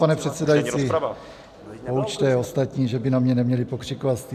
Pane předsedající, poučte ostatní, že by na mě neměli pokřikovat.